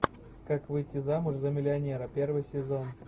как выйти замуж за миллионера первый сезон